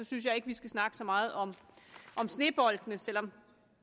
synes jeg ikke vi skal snakke så meget om snebolde selv om